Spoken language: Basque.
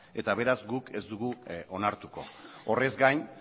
eta beraz guk ez dugu onartuko horrez gain